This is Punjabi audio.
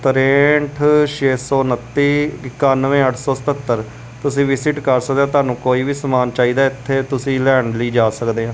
ਤਰੈਠ ਛੈ ਸੌ ਉਨੱਤੀ ਇਕਾਨਵੇਂ ਅੱਠ ਸੌ ਸਤੱਤਰ ਤੁਸੀਂ ਵਿਜ਼ਿਟ ਕਰ ਸਕਦੇ ਹੋ ਤੁਹਾਨੂੰ ਕੋਈ ਵੀ ਸਮਾਨ ਚਾਹੀਦਾ ਹੈ ਇੱਥੇ ਤੁਸੀਂ ਲੈਣ ਲਈ ਜਾ ਸਕਦੇ ਹਾਂ।